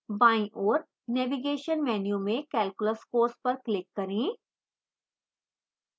बाईं ओर navigation menu में calculus course पर click करें